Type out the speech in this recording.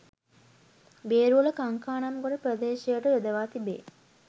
බේරුවල කංකානම්ගොඩ ප්‍රදේශයට යොදවා තිබේ.